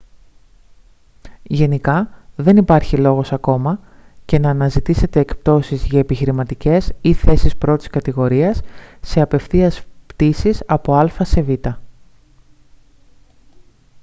γενικά δεν υπάρχει λόγος ακόμα και να αναζητήσετε εκπτώσεις για επιχειρηματικές ή θέσεις πρώτης κατηγορίας σε απευθείας πτήσεις από α σε β